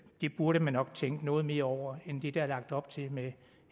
det burde man nok tænke noget mere over end det der er lagt op til med